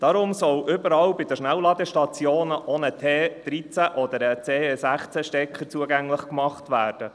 Deshalb soll überall bei den Schnellladestationen auch ein T13- oder ein T16-Stecker zugänglich gemacht werden.